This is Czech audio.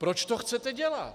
Proč to chcete dělat?